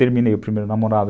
Terminei o primeiro namorado.